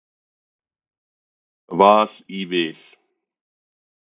Val í vil.